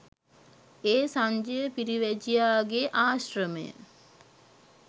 ඒ සංජය පිරිවැජියාගේ ආශ්‍රමය